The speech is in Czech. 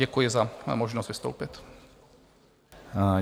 Děkuji za možnost vystoupit.